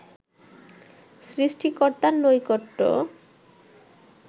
সৃষ্টিকর্তার নৈকট্য